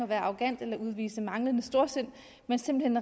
være arrogant eller udvise manglende storsind men simpelt